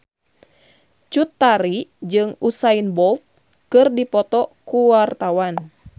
Cut Tari jeung Usain Bolt keur dipoto ku wartawan